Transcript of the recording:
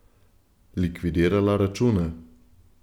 Likvidirala račune.